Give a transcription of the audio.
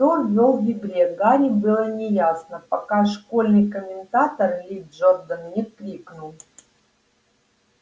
кто вёл в игре гарри было неясно пока школьный комментатор ли джордан не крикнул